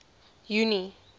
junie